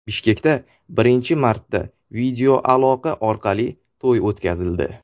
Bishkekda birinchi marta videoaloqa orqali to‘y o‘tkazildi .